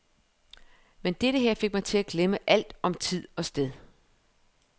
Men dette her fik mig til at glemme alt om tid og sted.